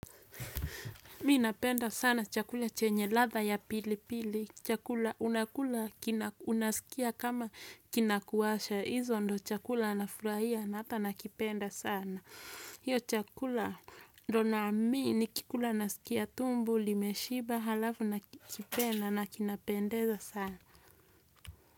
Minapenda sana chakula chenye ladha ya pilipili. Chakula unakula, unasikia kama kinakuwasha. Hizo ndio chakula anafurahia na hata nakipenda sana. Hicho chakula ndio naamini nikikula nasikia tumbo, limeshiba, halafu nakipenda na kinapendeza sana.